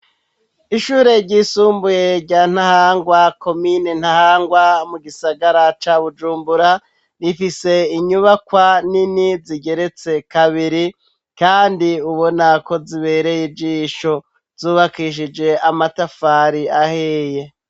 Ishure ryisumbuye rya Ntahangwa, Komine Ntahangwa mu gisagara ca Bujumbura, rifise inyubakwa nini zigeretse kabiri kandi ubona ko zibereye ijisho, zubakishije amatafari ahiye.